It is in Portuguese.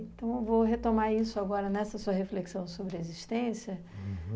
Então, eu vou retomar isso agora nessa sua reflexão sobre a existência.